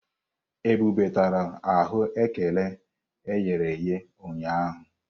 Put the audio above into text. Ebube tara aghù ékẹrè e ghere eghe ụnyahụ.